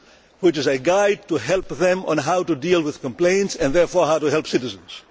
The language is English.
This is a guide to help them with how to deal with complaints and, therefore, how to help citizens.